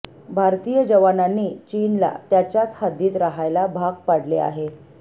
भारतीय जवानांनी चीनला त्याच्याच हद्दीत रहायला भाग पाडले आहे